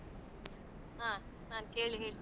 ಹಾ, ನಾನ್ ಕೇಳಿ ಹೇಳ್ತಿನಿ ನಿಮ್ಗೆ.